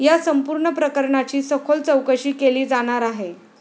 या संपूर्ण प्रकरणाची सखोल चौकशी केली जाणार आहे.